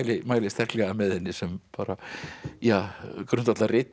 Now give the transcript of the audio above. mæli sterklega með henni sem bara